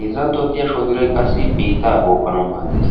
Heezzanttuwan diya shoodiray qassi biitta bookanaw maaddees.